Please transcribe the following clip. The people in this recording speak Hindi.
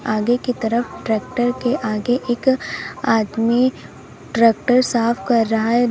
आगे की तरफ ट्रैक्टर के आगे एक आदमी ट्रैक्टर साफ कर रहा है।